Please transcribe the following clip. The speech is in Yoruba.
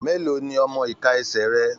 Mélòó ní ọmọ iká ẹsẹ rẹ?